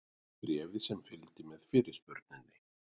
Bréfið sem fylgdi með fyrirspurninni.